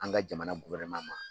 An ka jamana ma.